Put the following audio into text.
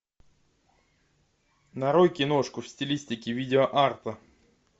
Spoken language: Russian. нарой киношку в стилистике видеоарта